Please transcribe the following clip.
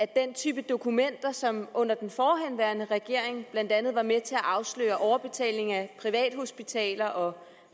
den type dokumenter som under den forhenværende regering blandt andet var med til at afsløre overbetaling af privathospitaler og